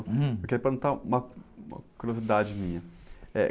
Hum.u queria perguntar uma, uma curiosidade minha. Eh...